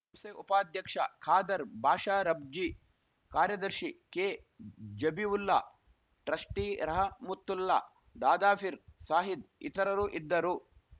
ಸಂಸ್ಥೆ ಉಪಾಧ್ಯಕ್ಷ ಖಾದರ್‌ ಬಾಷಾ ರಬ್ಜಿ ಕಾರ್ಯದರ್ಶಿ ಕೆಜಬೀವುಲ್ಲಾ ಟ್ರಸ್ಟಿರಹಮುತ್ತುಲ್ಲಾ ದಾದಾಫಿರ್‌ ಸಾಹೀದ್‌ ಇತರರು ಇದ್ದರು